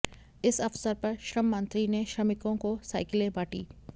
इस अवसर पर श्रम मंत्री ने श्रमिकों को साइकिलें बांटीं